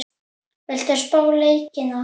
Viltu spá í leikina?